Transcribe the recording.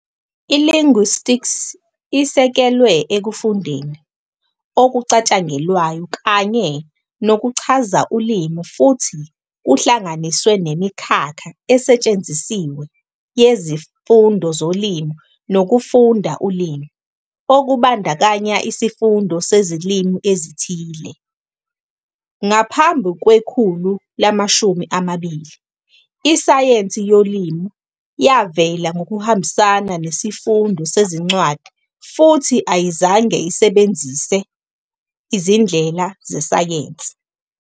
I-Linguistics isekelwe ekufundeni okucatshangelwayo kanye nokuchaza ulimi futhi kuhlanganiswe nemikhakha esetshenzisiwe yezifundo zolimi nokufunda ulimi, okubandakanya isifundo sezilimi ezithile. Ngaphambi kwekhulu lama-20, isayensi yolimi yavela ngokuhambisana nesifundo sezincwadi futhi ayizange isebenzise izindlela zesayensi.